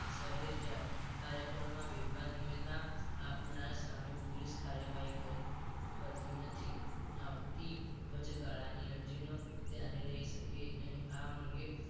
શહેર જાહેર કાર્યકરોમાં બેફામ નિવેદના આપનારા સામે પોલીસ કાર્યવાહી કરતી નથી આથી વચગાળાની અરજીનો ક્યારે લઈ શકે નહીં આમ આ અંગે